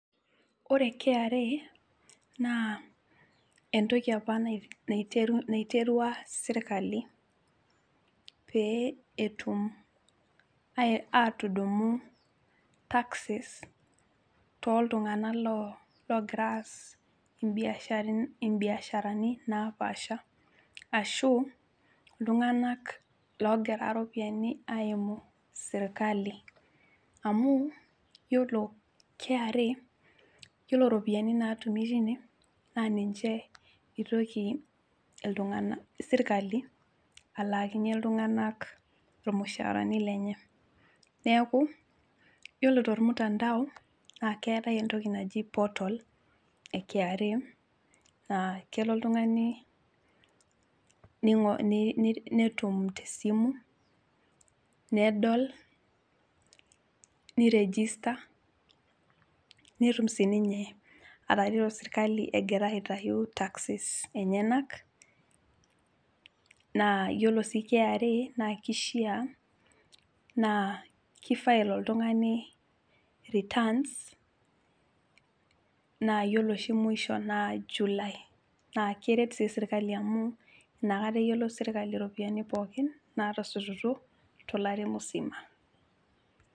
Ore KRA naa entoki apa naiterua sirkali pee etum atudumu taxes toltunganak loo logira aas imbiasharani naapasha ashu iltunganak logira iropiyiani aimu sirkali . Amu yiolo KRA yiolo ropiyiani natumi tine naa ninche itoki iltunganak , sirkali alaakinye iltunganak lenye .Neeku ore tormutandao naa keetae entoki naji portal eKRA naa kelo oltungani netum tesimu nedol , niregister netum sininye atareto sirkali egira aitayu[cs taxes enyenak naa yiolo siiKRA naa kishaa kifile oltungani returns [c]naa yiolo oshimwisho naa july naa keret sii sirkali amu inakata eyiolou sirkali iropiyiani pookin natosotutuo tolari musima.